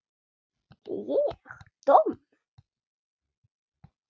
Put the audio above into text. Ég domm?